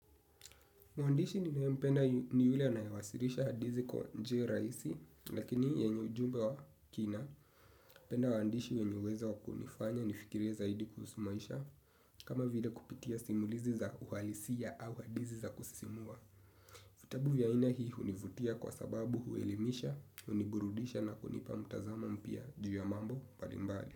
Muandishi ninayempenda ni ule anayewasilisha hadithi kwa njia rahisi lakini yenye ujumbe wa kina. Napenda waandishi wenye uwezo wa kunifanya nifikirie zaidi kuhusu maisha, kama vile kupitia simulizi za uhalisia au hadithi za kusimua. Vitabu vya aina hii hunivutia kwa sababu huelemisha, huniburudisha na kunipa mtazamo mpya juu ya mambo mbalimbali.